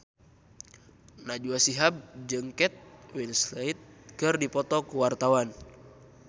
Najwa Shihab jeung Kate Winslet keur dipoto ku wartawan